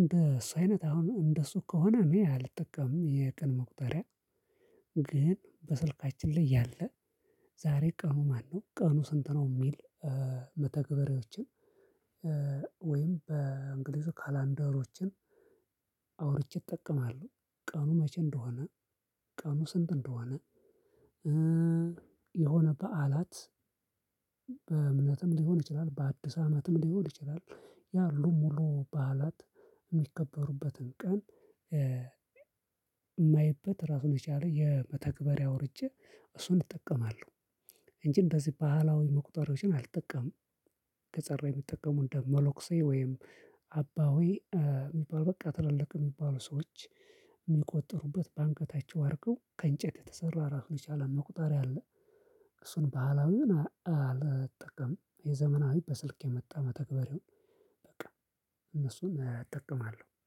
እንደሲ አይነት አሁን እንደሱ ከሆነ እኔ አልጠቀምም የቀን መቁጠሪያ። ግን በስልካችን ላይ ያለ ዛሬ ቀኑ ማነው? ቀኑ ስንት ነው? የሚል መተግበሪዎችን ወይም በእንግሊዙ ካላንደሮችን አውርቼ እጠቀማለሁ። ቀኑ መቼ እንደሆነ ቀኑ ስንት እንደሆነ። የሆነ በዓላት በእምነትም ሊሆን ይችላል በአዲስ አመትም ሊሆን ይችላል። ያሉ ሙሉ በዓላት የሚከበሩበትን ቀን የማይበት ራሱን የቻለ የመተግበሪያ አወርጄ እሱን እጠቀማለሁ። እንጂ እንደዚህ ባህላዊ መቁጠሪያወችን አልጠቀምም። ከጸር ላይ የሚጠቀሙት እንደ መለኩሲእ ወይም አባሆይ የሚባል በቃ ትላልቅ የሚባሉ ሰዎች የሚቆጠሩበት በአንገታቸው አርገው ከእንጨት የተሰራ ራሱ የቻለ መቁጠሪያ አለ። እሱን ባህላዊውን አልጠቀም የዘመናዊ በስልክ የመጣ መተግበር ይሁን በቃ እነሱን እጠቀማለሁ